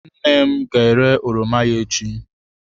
Nne m ga-ere oroma ya echi.